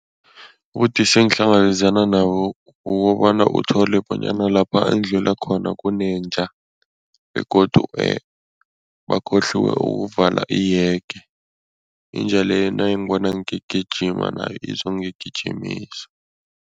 Ubudisi engihlangabezana nabo kukobana uthole bonyana lapha engidlula khona kunenja begodu bakhohliwe ukuvala ihege, inja leyo nayingibona ngigijima nayo izongigijimisa.